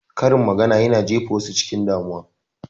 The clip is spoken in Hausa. Karin magana yana jefa wasu cikin damuwa